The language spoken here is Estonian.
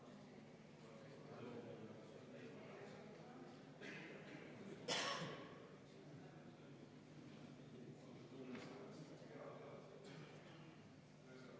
Palun selle põhiseadusevastase eelnõu muudatusettepaneku nr 10 panna hääletusele EKRE fraktsiooni poolt ja võtta enne seda ka kümme minutit vaheaega.